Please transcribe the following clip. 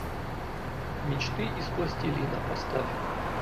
мечты из пластилина поставь